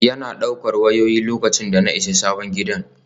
Yana ɗaukar wayoyi, lokacin da na isa sabon gidan.